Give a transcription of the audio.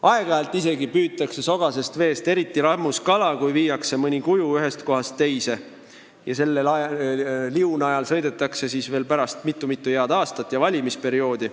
Aeg-ajalt püütakse isegi sogasest veest eriti rammus kala, kui viiakse mõni kuju ühest kohast teise ja selle najal lastakse pärast liugu mitu-mitu head aastat ja valimisperioodi.